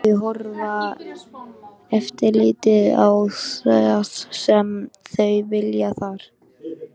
Þau horfa yfirleitt á það sem þau vilja þar.